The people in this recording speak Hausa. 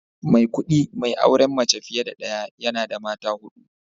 Maikudi mai auren mace fiye da daya, yana da mata hudu